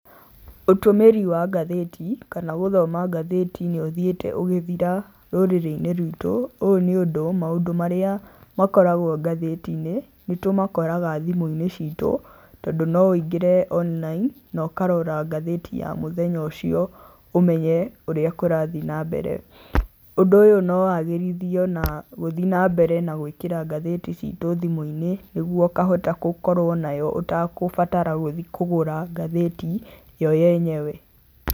Ũtũmĩri wa ngathĩti kana gũthoma ngathĩti nĩ ũthiĩte ũgĩthira rũrĩrĩ-inĩ rwitũ, ũũ nĩ ũndũ maũndũ marĩa makoragwo ngathĩti-inĩ nĩ tũmakoraga thimũ-inĩ citũ tondũ no ũingĩre online na ũkarora ngathĩti ya mũthenya ũcio ũmenye ũrĩa kũrathi na mbere. Ũndũ ũyũ no wagĩrithio na gũthi na mbere na gũĩkĩra ngathĩti citũ thimũ-inĩ nĩguo ũkahota gũkorwo nayo ũtakũbatara gũthi kũgũra ngathĩti yo yenyewe.